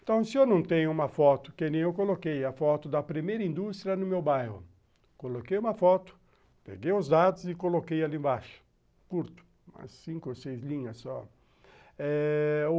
Então, se eu não tenho uma foto, que nem eu coloquei, a foto da primeira indústria no meu bairro, coloquei uma foto, peguei os dados e coloquei ali embaixo, curto, cinco ou seis linhas só, eh...